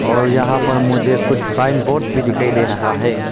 और यहां पर मुझे कुछ साइन बोर्ड भी दिखाई दे रहा है।